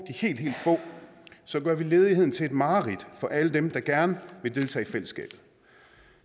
helt helt få så gør vi ledigheden til et mareridt for alle dem der gerne vil deltage i fællesskabet